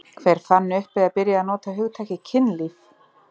Hver fann upp eða byrjaði að nota hugtakið kynlíf?